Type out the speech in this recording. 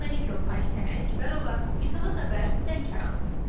Rəhman Məlikov, Aysən Ələkbərova, İTV Xəbər, Lənkəran.